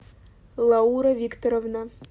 лаура викторовна